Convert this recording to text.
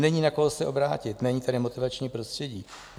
Není na koho se obrátit, není tady motivační prostředí.